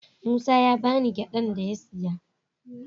Musa ya ba ni gyadan da ya siya.